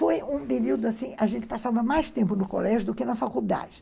Foi um período, assim em que a gente passava mais tempo no colégio do que na faculdade.